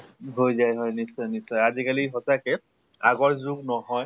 হৈ যায় হৈ যায়। নিশ্চয় নিশ্চয় আজি কালি সঁচাকে আগৰ যুগ নহয়